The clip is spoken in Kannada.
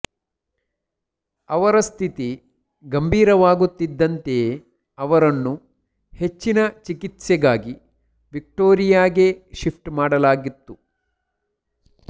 ಅವರ ಸ್ಥಿತಿ ಗಂಭೀರವಾಗುತ್ತಿದ್ದಂತೆಯೇ ಅವರನ್ನು ಹೆಚ್ಚಿನ ಚಿಕಿತ್ಸೆಗಾಗಿ ವಿಕ್ಟೋರಿಯಾಗೆ ಶಿಫ್ಟ್ ಮಾಡಲಾಗತ್ತು